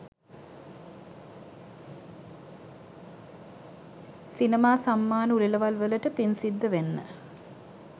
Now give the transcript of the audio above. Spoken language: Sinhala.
සිනමා සම්මාන උළෙලවල් වලට පින් සිද්ධ වෙන්න.